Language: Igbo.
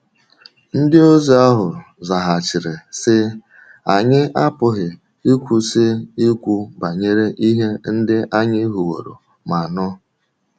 Ndịozi ahụ zaghachiri, sị: “Anyị apụghị ịkwụsị ikwu banyere ihe ndị anyị hụwòrò ma nụ.”